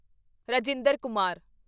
Rajinder Kumar